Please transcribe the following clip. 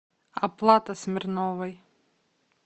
оплата смирновой